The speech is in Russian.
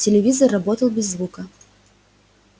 телевизор работал без звука